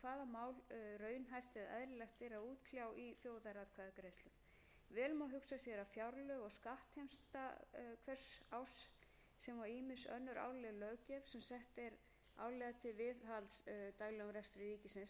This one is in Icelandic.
mál raunhæft eða eðlilegt er að útkljá í þjóðaratkvæðagreiðslum vel má hugsa sér að fjárlög og skattheimta hvers árs sem og ýmis önnur árleg löggjöf sem sett er árlega